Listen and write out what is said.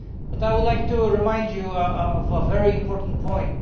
I would like to remind you of a very important point.